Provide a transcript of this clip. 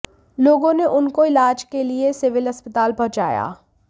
लोगों ने उनको इलाज के लिए सिविल अस्पताल पहुंचाया